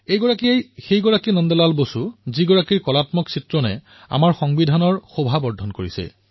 এয়াই সেই নন্দ লাল বসু আছিল যাৰ কলা শিল্পই আমাৰ সংবিধানৰ শোভা বৃদ্ধি কৰিছে